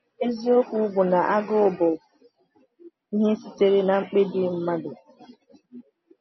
“Eziokwu bụ na agụụ bụ ihe sitere n’mkpebi mmadụ.